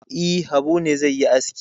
E, Habu ne zai yi aski.